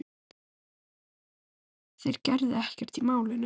Þeir gerðu ekkert í málinu.